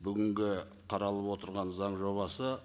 бүгінгі қаралып отырған заң жобасы